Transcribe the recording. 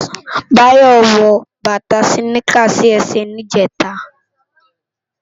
Bayo wò bata siniká si èsè nijètá